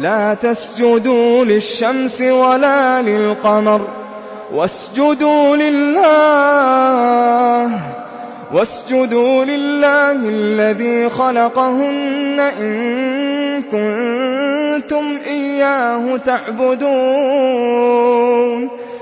لَا تَسْجُدُوا لِلشَّمْسِ وَلَا لِلْقَمَرِ وَاسْجُدُوا لِلَّهِ الَّذِي خَلَقَهُنَّ إِن كُنتُمْ إِيَّاهُ تَعْبُدُونَ